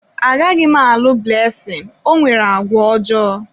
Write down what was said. Agaghị m alụ Blessing, o nwere àgwà ọjọọ.